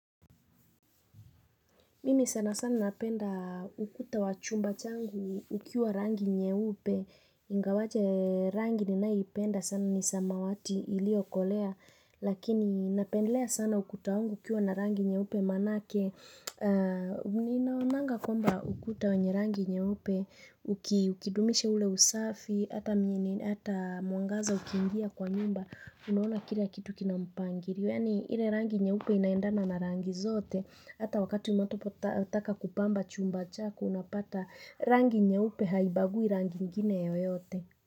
Mimi sana sana napenda ukuta wa chumba changu ukiwa rangi nyeupe, ingawaje rangi ninayoipenda sana ni samawati iliyo kolea Lakini napendelea sana ukuta wangu ukiwa na rangi nyeupe manake Ninaonanga kwamba ukuta wanye rangi nyeupe, ukidumisha ule usafi, hata mwangaza ukiingia kwa nyumba, unaona kila kitu kina mpangilio yani ile rangi nyeupe inaendana na rangi zote. Hata wakati unapotaka kupamba chumba chako unapata. Rangi nyeupe haibagui rangi ingine yoyote.